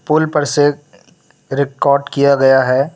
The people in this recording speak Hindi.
पूल पर से रिकॉर्ड किया गया है।